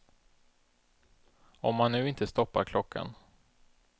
Om man nu inte stoppar klockan.